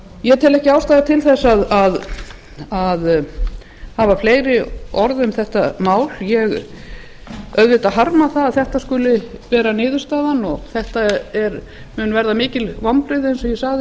ég tel ekki ástæðu til þess að hafa fleiri orð um þetta mál ég auðvitað harma að þetta skuli verða niðurstaðan og þetta munu verða mikil vonbrigði eins og ég sagði